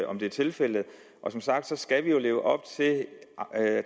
om det er tilfældet som sagt skal vi jo leve op til